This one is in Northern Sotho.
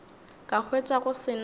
ka hwetša go se na